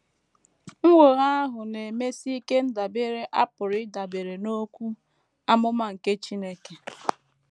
Nnwogha ahụ na - emesi ike ndabere a pụrụ ịdabere n’okwu amụma nke Chineke.